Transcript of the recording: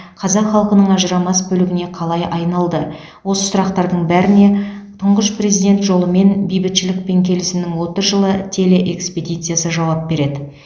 қазақ халқының ажырамас бөлігіне қалай айналды осы сұрақтардың бәріне тұңғыш президент жолымен бейбітшілік пен келісімнің отыз жылы телеэкспедициясы жауап береді